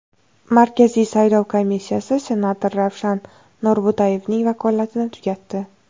Markaziy saylov komissiyasi senator Ravshan Norbo‘tayevning vakolatini tugatdi.